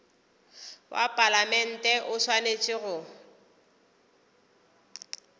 wa palamente o swanetše go